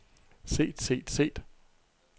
set set set